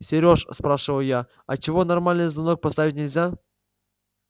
сереж спрашиваю я а чего нормальный звонок поставить нельзя